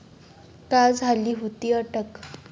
का झाली होती अटक?